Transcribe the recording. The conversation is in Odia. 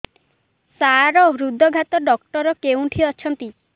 ସାର ହୃଦଘାତ ଡକ୍ଟର କେଉଁଠି ଅଛନ୍ତି